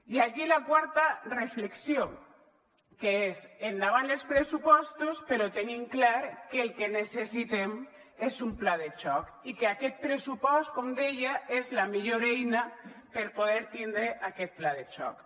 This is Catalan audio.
i aquí la quarta reflexió que és endavant els pressupostos però tenint clar que el que necessitem és un pla de xoc i que aquest pressupost com deia és la millor eina per a poder tindre aquest pla de xoc